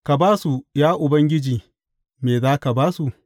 Ka ba su, ya Ubangiji Me za ka ba su?